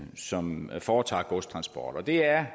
som foretager godstransport og det er